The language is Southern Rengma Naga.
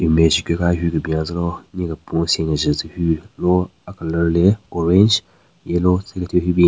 Image higu ka hyu kebin yatselo nye kepun sen kenjen tsü hyu lo a-colour le orange yellow tsü kethyu hyu bin.